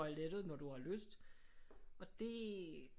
Toilettet når du har lyst og det